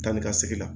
Taa ni ka segin la